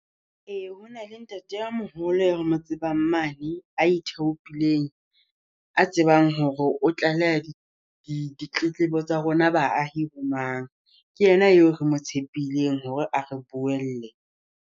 Ee ho na le ntate a moholo e re mo tsebang mane, a ithaopileng, a tsebang hore o tlaleha di ditletlebo tsa rona baahi ho mang. Ke yena eo re mo tshepileng hore a re buelle.